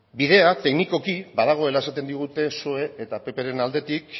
bidea teknikoki badagoela esaten digute psoe eta ppren aldetik